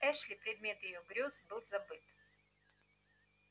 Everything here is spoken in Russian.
эшли предмет её грёз был забыт